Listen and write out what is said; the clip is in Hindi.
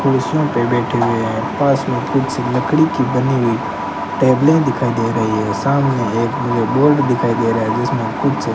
कुर्सियों पे बैठे हुए है पास में कुर्सी लकड़ी की बनी हुई टेबले दिखाई दे रही है सामने एक मुझे बोर्ड दिखाई रहा है जिसमें कुछ --